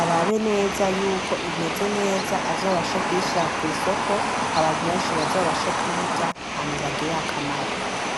arabeneza yuko imeze neza azobashe kuyishira kwisoko abantu benshi bazobashe kuyirya hama ibagirire akamaro.